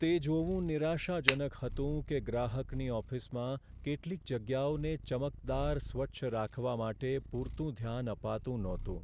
તે જોવું નિરાશાજનક હતું કે ગ્રાહકની ઓફિસમાં કેટલીક જગ્યાઓને ચમકદાર સ્વચ્છ રાખવા માટે પૂરતું ધ્યાન અપાતું નહોતું.